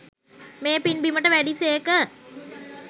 මේ පින් බිමට වැඩි සේක.